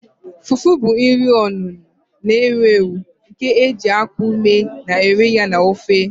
Fufu bụ nri onuno na-ewu ewu nke e ji akpu mee ma rie ya na ofe